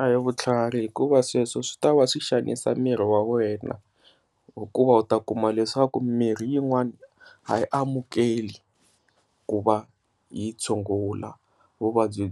A hi vutlhari hikuva sweswo swi ta va swi xanisa miri wa wena hikuva u ta kuma leswaku mirhi yin'wana a yi amukeli ku va yi tshungula vuvabyi